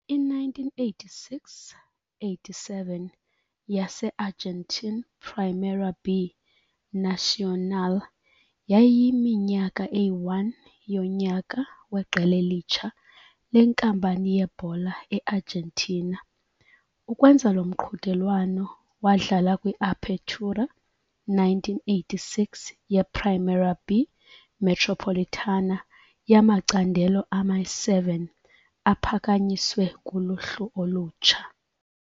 I-1986-87 yase-Argentine Primera B Nacional yayiyiminyaka eyi-1 yonyaka weqela elitsha lenkampani yebhola e-Argentina. Ukwenza lo mqhudelwano wadlala kwi-Apertura 1986 ye-Primera B Metropolitana yamacandelo ama-7 aphakanyiswe kuloluhlu olutsha.